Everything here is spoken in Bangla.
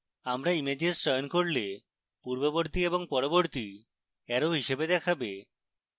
আমরা images চয়ন করলে পূর্ববর্তী এবং পরবর্তী অ্যারো হিসাবে দেখাবে